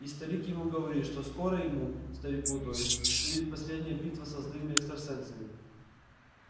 и старик ему говорит что скоро ему старику то есть предстоит последняя битва со злыми экстрасенсами